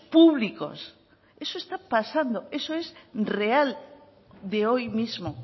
públicos eso está pasando eso es real de hoy mismo